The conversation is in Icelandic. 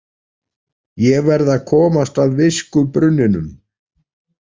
Ég verð að komast að viskubrunninum